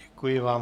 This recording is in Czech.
Děkuji vám.